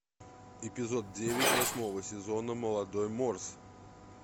эпизод девять восьмого сезона молодой морс